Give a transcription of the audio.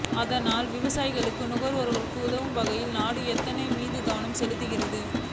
அதனால்தான் விவசாயிகளுக்கும் நுகர்வோருக்கும் உதவும் வகையில் நாடு எத்தனால் மீது கவனம் செலுத்துகிறது